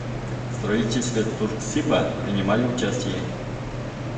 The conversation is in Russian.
в строительстве турксиба принимали участие